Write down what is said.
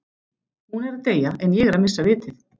Hún er að deyja en ég er að missa vitið